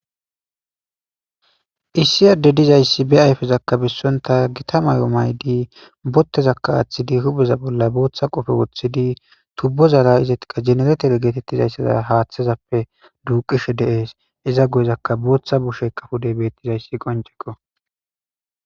issi adde dizayssi be ayfezakkabissonta gita mayo maydi bottezakka aaththidi hubeza bolla booththa qofe woththidi tubbozara izetiqa jeneretore geetettizayssaza haaththezappe duuqishe deees iza guyezakka booththa bushe kafudey beettizayssi qoncekko